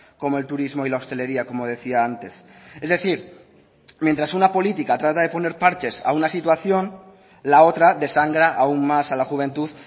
como el turismo y la hostelería como decía antes es decir mientras una política trata de poner parches a una situación la otra desangra aún más a la juventud